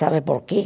Sabe por quê?